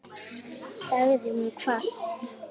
sagði hún hvasst.